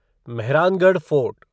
Mehrangarh fort